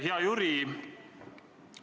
Hea Jüri!